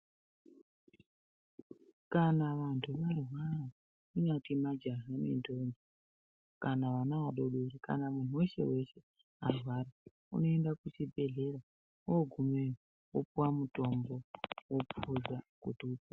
Kana vantu varwara angange majaha nendombi kana vana vadoodori kana muntu weshe-weshe arwara unoenda kuchibhedhleya oogumeyo opuwa mutombo opuza kuti u.....